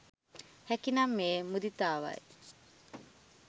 හැකි නම් එය මුදිතාවයි.